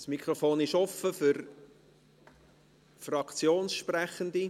Das Mikrofon ist offen für Fraktionssprechende.